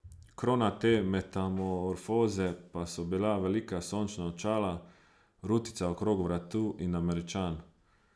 Krona te metamorfoze pa so bila velika sončna očala, rutica okrog vratu in Američan.